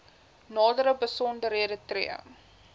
nadere besonderhede tree